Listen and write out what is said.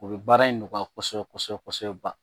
O bɛ baara in nɔgɔya kosɛbɛ kosɛbɛ kosɛbɛ ban